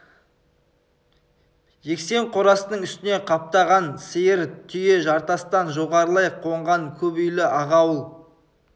жексен қорасының үстіне қаптаған сиыр түйе жартастан жоғарылай қонған көп үйлі ақ ауыл